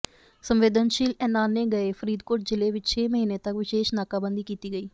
ਸੰਵੇਦਨਸ਼ੀਲ ਐਲਾਨੇ ਗਏ ਫ਼ਰੀਦਕੋਟ ਜ਼ਿਲ੍ਹੇ ਵਿਚ ਛੇ ਮਹੀਨੇ ਤੱਕ ਵਿਸ਼ੇਸ਼ ਨਾਕਾਬੰਦੀ ਕੀਤੀ ਗਈ